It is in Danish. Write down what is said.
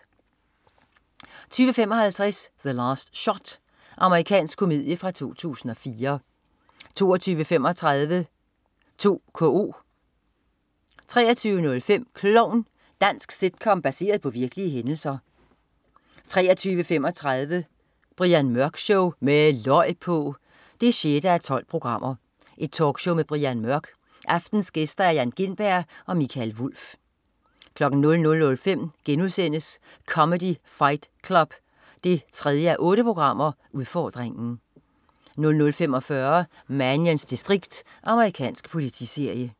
20.55 The Last Shot. Amerikansk komedie fra 2004 22.35 2KO 23.05 Klovn. Dansk sitcom baseret på virkelige hændelser 23.35 Brian Mørk Show. Med løg på! 6:12. Talkshow med Brian Mørk. Aftenens gæster: Jan Gintberg og Mikael Wulff 00.05 Comedy Fight Club 3:8 udfordringen* 00.45 Mannions distrikt. Amerikansk politiserie